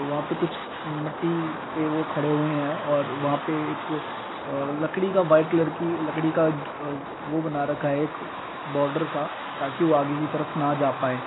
वहां पे कुछ मट्टी पे वो खडे हुऐ हैं और वहां पे एक अ लकड़ी का व्हाइट कलर की लकड़ी का एक वो बना रखा है| एक बॉर्डर सा ताकि वो आगे की तरफ ना जा पाए।